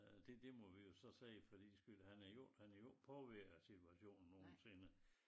Øh det det må vi jo så se fordi skulle han er jo ikke han er jo ikke påvirket af situationen nogensinde